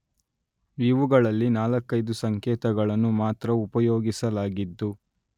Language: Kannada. ಇವುಗಳಲ್ಲಿ ನಾಲ್ಕೈದು ಸಂಕೇತಗಳನ್ನು ಮಾತ್ರ ಉಪಯೋಗಿಸಲಾಗಿದ್ದು